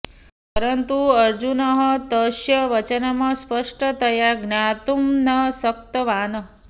परन्तु अर्जुनः तस्य वचनं स्पष्टतया ज्ञातुं न शक्तवान्